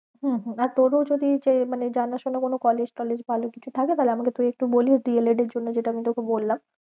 হম হম আর তোরো যদি যে মানে জানা শোনা কোনো college টলেজ ভালো কিছু থাকে তাহলে আমাকে তুই একটু বলিস D. el. ed এর জন্য যেটা আমি তোকে বললাম।